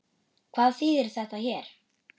Hvað þýðir þetta hér?